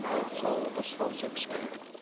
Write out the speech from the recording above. вот сол дұрыс болушы еді кішкене